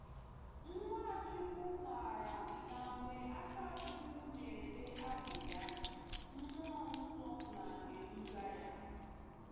Nwachukwu maara na mgbe Akáchukwu na-ede abụ ya, Mmụọ Nsọ na-eduga ya.